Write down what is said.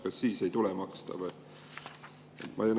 Kas siis ei tule maksta või?